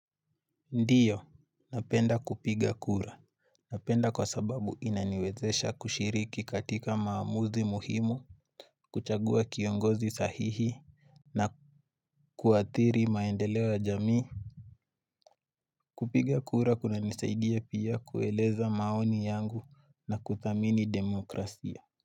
Ndio, napenda kupiga kura. Napenda kwa sababu inaniwezesha kushiriki katika maamuzi muhimu, kuchagua kiongozi sahihi, na kuathiri maendeleo ya jamii. Kupiga kura kunanisaidia pia kueleza maoni yangu na kuthamini demokrasia.